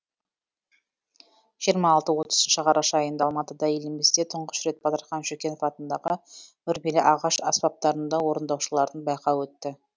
жиырма алты отызыншы қараша айында алматыда елімізде тұңғыш рет батырхан шүкенов атындағы үрмелі ағаш аспаптарында орындаушылардың байқауы өтті